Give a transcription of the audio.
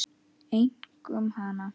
Einkum hana.